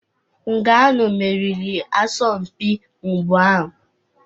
Nganou meriri asọmpi mgba ahụ.